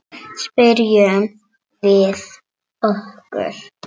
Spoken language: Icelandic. Spyrjum við okkur.